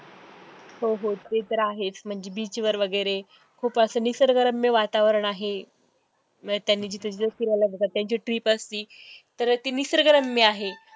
हो हो ते तर आहेच म्हणजे beach वैगरे खूप असं निसर्गरम्य वातावरण आहे, परत त्यांनी जिथं जिथं फिरायला जातात त्यांची trip असती, परत ती निसर्गरम्य आहे.